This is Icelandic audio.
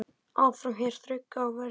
Áfram hér þrauka á verði.